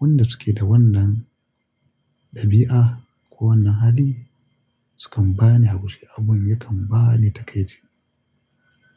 wanda suke da wannan ɗabi'a ko wannan hali sukan bani haushi, abin yakan ba ni takaici.